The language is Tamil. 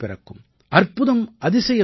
அற்புதம் அதிசயம் நிகழும்